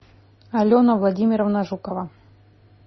алена владимировна жукова